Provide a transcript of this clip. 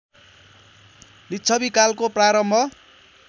लिच्छवि कालको प्रारम्भ